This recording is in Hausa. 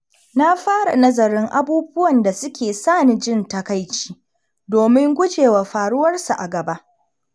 Na fara nazarin abubuwan da suke sa ni jin takaici domin guje wa faruwar su a gaba.